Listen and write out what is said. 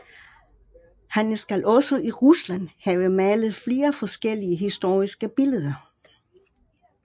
Han skal også i Rusland have malet flere store historiske billeder